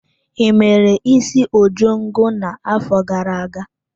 I mere isi ojongo na-afọ gara-aga?